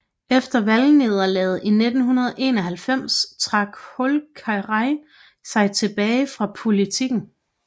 Efter valgnederlaget i 1991 trak Holkeri sig tilbage fra politikken